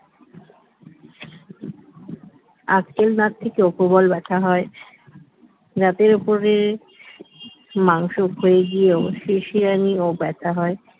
আক্কেল দাঁত থেকে প্রবল ব্যাথা হয় দাঁতের উপর থেকে মাংস ক্ষয়ে গিয়েও শিরশিরানি ও ব্যথা হয়